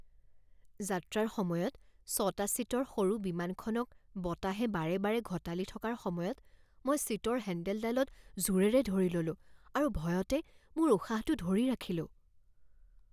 যাত্ৰাৰ সময়ত ছটা ছিটৰ সৰু বিমানখনক বতাহে বাৰে বাৰে ঘঁটালি থকাৰ সময়ত মই ছিটৰ হেন্দেলডালত জোৰেৰে ধৰি ল'লোঁ আৰু ভয়তে মোৰ উশাহটো ধৰি ৰাখিলোঁ।